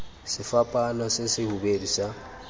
sefapaano se se hubedu sa